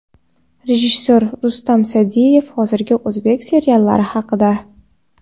Rejissor Rustam Sa’diyev hozirgi o‘zbek seriallari haqida .